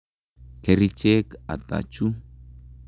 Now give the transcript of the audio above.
Kerichek ata chu?